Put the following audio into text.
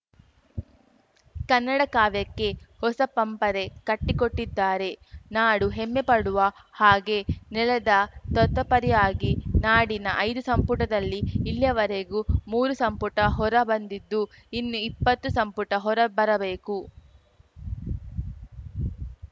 ಕನ್ನಡ ಕಾವ್ಯಕ್ಕೆ ಹೊಸ ಪಂಪರೆ ಕಟ್ಟಿಕೊಟ್ಟಿದ್ದಾರೆ ನಾಡು ಹೆಮ್ಮೆ ಪಡುವ ಹಾಗೆ ನೆಲದ ತತ್ವಪರಯಾಗಿ ನಾಡಿನ ಐದು ಸಂಪುಟದಲ್ಲಿ ಇಲ್ಲಿಯವರೆಗೂ ಮೂರು ಸಂಪುಟ ಹೊರ ಬಂದಿದ್ದು ಇನ್ನು ಇಪ್ಪತ್ತು ಸಂಪುಟ ಹೊರಬರಬೇಕು